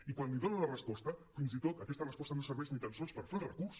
i quan li donen la resposta fins i tot aquesta resposta no serveix ni tan sols per fer el recurs